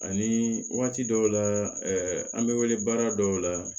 Ani waati dɔw la ɛɛ an bɛ wele baara dɔw la